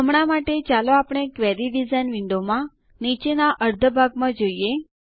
હમણાં માટે ચાલો આપણે ક્વેરી ડીઝાઇન વિન્ડોનાં નીચેના અર્ધા ભાગને જોઈએ